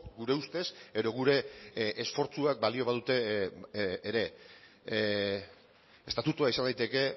gure ustez edo gure esfortzuak balio badute ere estatutua izan daiteke